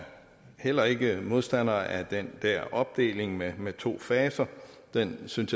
heller ikke modstander af den dér opdeling med med to faser den synes